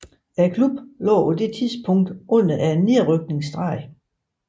Klubben lå på det tidspunkt under nedrykningsstregen